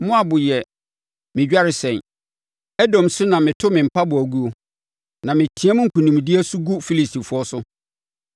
Moab yɛ me dwaresɛn, Edom so na meto me mpaboa guo; na meteam nkonimdie so gu Filistifoɔ so.”